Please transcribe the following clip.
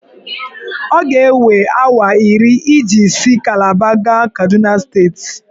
Ọ ga-ewe awa iri iji si Kalaba gaa Kaduna steeti.